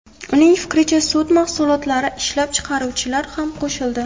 Uning fikriga sut mahsulotlarini ishlab chiqaruvchilar ham qo‘shildi.